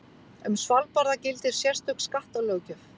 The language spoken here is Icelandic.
Um Svalbarða gildir sérstök skattalöggjöf.